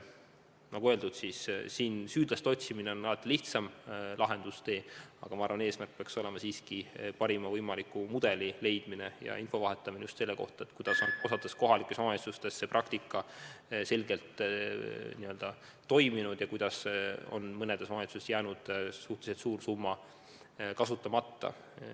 Nagu öeldud, süüdlaste otsimine on alati lihtsam lahendustee, aga ma arvan, et eesmärk peaks siiski olema leida parim võimalik mudel ja vahetada infot just nimelt selle kohta, kuidas on osas kohalikes omavalitsustes see praktika ilmselgelt toiminud ja kuidas mõnes omavalitsuses on jäänud suhteliselt suur summa kasutamata.